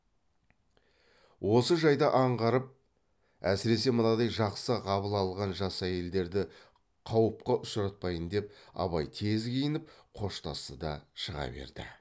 осы жайды аңғарып әсіресе мынадай жақсы қабыл алған жас әйелдерді қауыпқа ұшыратпайын деп абай тез киініп қоштасты да шыға берді